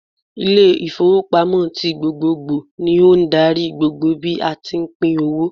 Ile ìfowópamọ́ tí gbogbogbò ni ó n darí gbogbo bí a tí pín owó